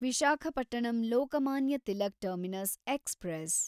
Visakhapatnam Lokmanya Tilak terminus express